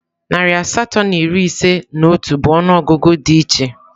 Narị asatọ na iri ise na otu bụ ọnụọgụgụ di iche.